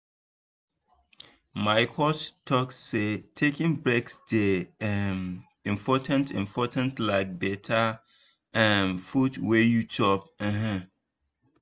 my coach talk say taking breaks dey um important important like better um food wey you chop. um